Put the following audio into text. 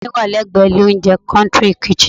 Ilé mi wà lẹ́gbẹ̀ ilé oúnjẹ "country kitchen"